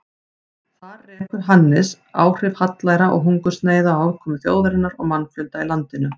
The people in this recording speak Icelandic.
Þar rekur Hannes áhrif hallæra og hungursneyða á afkomu þjóðarinnar og mannfjölda í landinu.